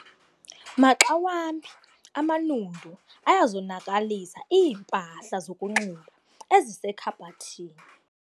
Maxa wambi amanundu ayazonakalisa iimpahla zokunxiba ezisekhabhathini.